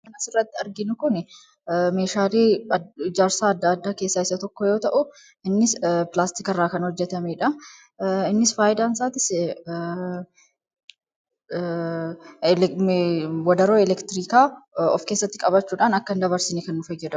As irratti arginu kun meeshaalee ijarsaa adda addaa keessaa isa tokko yoo ta'u innis pilaastikii irraa kan hojjetameedha innis faayidaan isaatis wadaroo elektiriikaa of keessatti qabachuudhaan akka in dabarsinii kan godhudha.